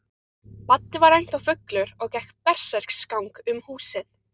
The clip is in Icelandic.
Baddi var ennþá fullur og gekk berserksgang um húsið.